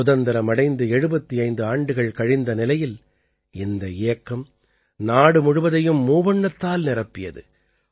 சுதந்திரம் அடைந்து 75 ஆண்டுகள் கழிந்த நிலையில் இந்த இயக்கம் நாடு முழுவதையும் மூவண்ணத்தால் நிரப்பியது